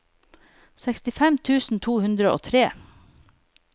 sekstifem tusen to hundre og tre